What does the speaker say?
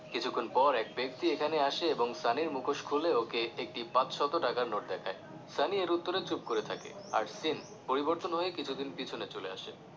কিছুক্ষন পর এক ব্যক্তি এখানে আসে এবং সানির মুখোশ খুলে ওকে একটি পাঁচশত টাকার নোট দেখায় সানি এর উত্তরে চুপ করে থাকে আর scene পরিবর্তন হয়ে কিছুদিন পিছনে চলে আসে